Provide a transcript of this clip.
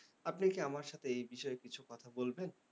আপনি কি আমার সাথে এই বিষয়ে কিছু কথা বলবেন?